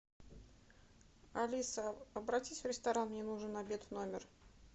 алиса обратись в ресторан мне нужен обед в номер